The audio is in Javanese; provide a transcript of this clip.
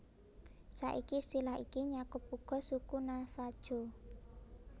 Saiki istilah iki nyakup uga suku Navajo